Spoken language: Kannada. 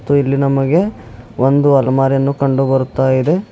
ಮತ್ತು ಇಲ್ಲಿ ನಮಗೆ ಒಂದು ಅಲ್ಮಾರಿಯನ್ನು ಕಂಡುಬರುತ್ತಾಯಿದೆ.